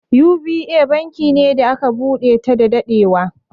U.B.A banki ne da aka buɗe ta da daɗewa.